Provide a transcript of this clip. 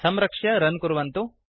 संरक्ष्य रन् कुर्वन्तु